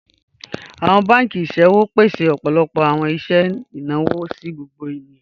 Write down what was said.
Awọn bankì iṣẹ̀wò pèsè ọpọlọpọ awọn iṣẹ̀ ináwọ̀ sí gbogbo ènìyàn.